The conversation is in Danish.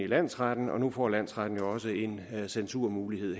landsretten og nu får landsretten jo også en censurmulighed